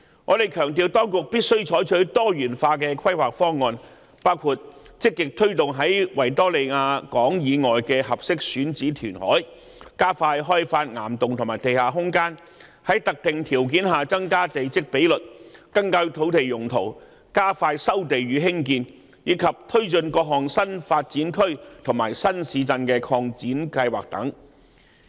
我們強調當局必須採取多元化規劃方案，包括積極推動在維多利亞港以外的合適選址填海、加快開發岩洞和地下空間、在特定條件下增加地積比率、更改土地用途、加快收地與重建，以及推進各項新發展區和新市鎮擴展計劃等。